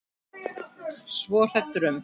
Svo hrædd um.